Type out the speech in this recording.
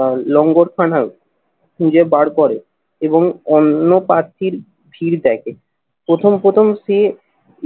আহ লঙ্গরখানার খুঁজে বার করে এবং অন্য প্রার্থীর ভিড় দেখে। প্রথম প্রথম সে